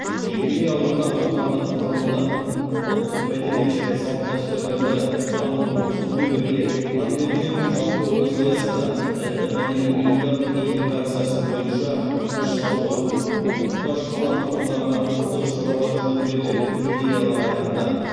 жекелей алғанда отандық ғылымды ұлттық мәдениет және салт дәстүрлерді дамыту сонымен бірге пандемиямен жалпы күрес аясында этномәдени ұйымдардың интеграциясы бойынша күш салуы мұқтаж қала тұрғындарына қолдау шаралары жөніндегі идеялар айтылды